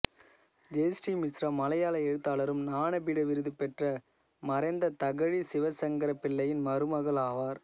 ஜெய்ஸ்ரீ மிஸ்ரா மலையாள எழுத்தாளரும் ஞானபீட விருது பெற்ற மறைந்த தகழி சிவசங்கரப் பிள்ளையின் மருமகள் ஆவார்